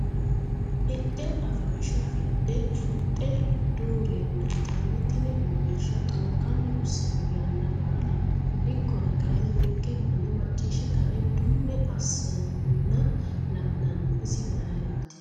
Hidhe afansha afidhe gudhe dureeme yitanni tini uurrinsha xokkani hosano yanna baalla ikkonna kayinni ninke manni macciishshe kae dunni assanna la'nanninna isi mayrati?